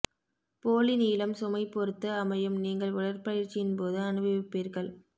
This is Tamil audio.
போலி நீளம் சுமை பொறுத்து அமையும் நீங்கள் உடற்பயிற்சியின் போது அனுபவிப்பார்கள்